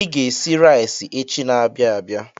I ga-esi rais echi n'abia abịa.